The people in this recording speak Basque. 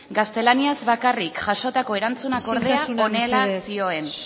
gaztelaniaz bakarrik jasotako erantzunak ordea isiltasuna mesedez horrela zioen